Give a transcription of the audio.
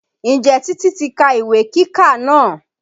Ǹjẹ́ Titi ti ka ìwé kíkà náà?